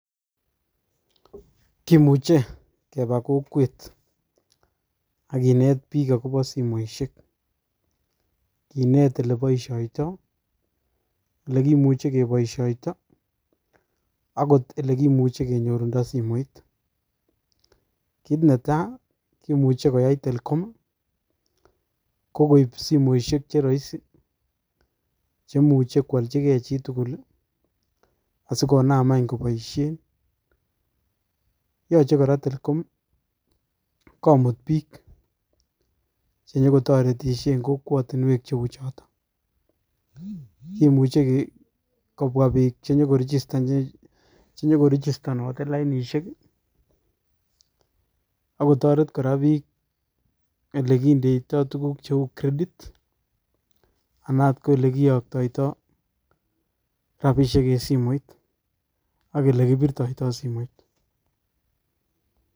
kimuche keba kokwet akinet biik akobo simoisiek kinet oleboisioito olekimuchi keboisioito agot ole kimuchi kenyorundo simoit. Kiit ne taa kimuchi koai telcom kokoip simosiek che rahisi cheimuchi koaljigei chitugul asikonaam anykoboisie. Yache kora telcom komut biik chenyeko toretishei eng kokwatinwek cheuchotok imuchi kobwa biik chenyiko registanoti lainisieki akotoret kora biik ole kindoitoi tugun cheu creditv anaat ole kiyoktoito rapisiek eng simoit ak ole kipirtoito simoit.